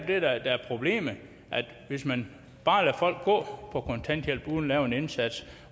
det der er problemet altså hvis man bare lader folk gå på kontanthjælp uden at gøre en indsats